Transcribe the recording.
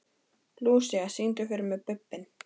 Lúsía, syngdu fyrir mig „Bubbinn“.